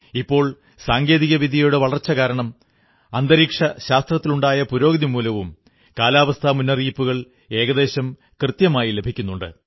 ഇപ്പോൾ സാങ്കേതിക വിദ്യയുടെ വളർച്ച കാരണവും അന്തരീക്ഷശാസ്ത്രത്തിലുണ്ടായ പുരോഗതികൊണ്ടും കാലാവസ്ഥാ മുന്നറിയിപ്പുകൾ ഏകദേശം കൃത്യമായി ലഭിക്കുന്നുണ്ട്